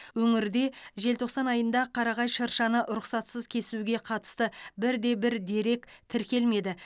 өңірде желтоқсан айында қарағай шыршаны рұқсатсыз кесуге қатысты бір де бір дерек тіркелмеді